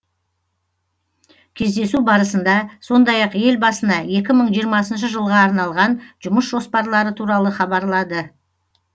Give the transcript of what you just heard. кездесу барысында сондай ақ елбасына екі мың жиырмасыншы жылға арналған жұмыс жоспарлары туралы хабарлады